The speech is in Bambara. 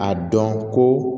A dɔn ko